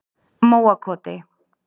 Móakoti